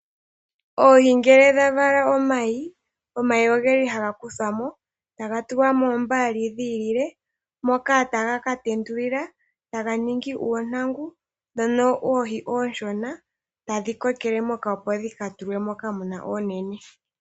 Oohi ngele dha vala omayi, omayi oge li haga kuthwa mo, taga tulwa moombaali dhi ilile, moka taga ka tendulilwa, taga ningi uuntangu, ndhono oohi oonshona, tadhi kokele moka, opo dhi ka tulwe moka mu na oonene.